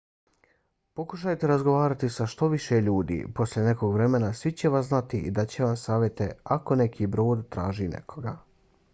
pokušajte razgovarati sa što više ljudi. poslije nekog vremena svi će vas znati i dat će vam savjete ako neki brod traži nekoga